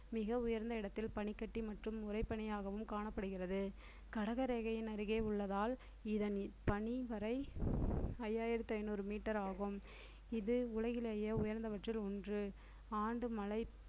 மிக உயர்ந்த இடத்தில் பனிக்கட்டி மற்றும் உறைபனியாகவும் காணப்படுகிறது கடக ரேகையின் அருகே உள்ளதால் இதன் பனிவரை ஐயாயிரத்தி ஐநூறு meter ஆகும் இது உலகிலேயே உயர்ந்தபட்சத்தில் ஒன்று ஆண்டு மழை